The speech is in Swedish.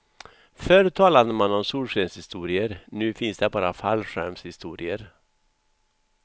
Förr talade man om solskenshistorier, nu finns det bara fallskärmshistorier.